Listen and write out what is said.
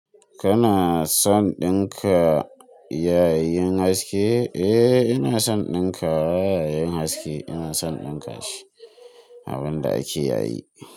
Kana son ɗinka yay yin haske? Eh ina son ɗinka yay yin haske, ina son ɗinka shi abin da ake yayi.